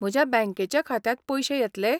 म्हज्या बँकेच्या खात्यांत पयशे येतले?